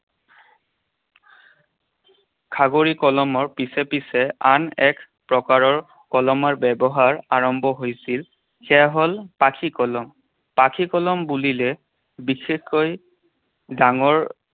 খাগৰি কলমৰ পিছে পিছে আন এক প্ৰকাৰৰ কলমৰ ব্যৱহাৰ আৰম্ভ হৈছিল। সেয়া হ'ল পাখি কলম। পাখি কলম বুলিলে বিশেষকৈ ডাঙৰ